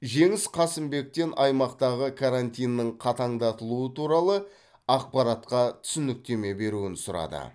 жеңіс қасымбектен аймақтағы карантиннің қатаңдатылуы туралы ақпаратқа түсініктеме беруін сұрады